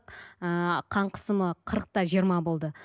ыыы қан қысымы қырық та жиырма болды